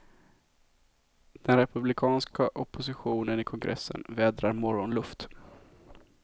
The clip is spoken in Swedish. Den republikanska oppositionen i kongressen vädrar morgonluft.